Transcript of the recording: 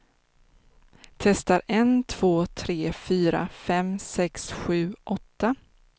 Testar en två tre fyra fem sex sju åtta.